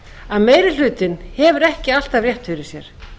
að meiri hlutinn hefur ekki alltaf rétt fyrir sér